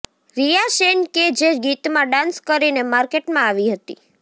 રિયા સેન કે જે ગીતમાં ડાન્સ કરીને માર્કેટમાં આવી હતી